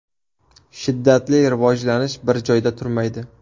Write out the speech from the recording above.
Shiddatli rivojlanish bir joyda turmaydi.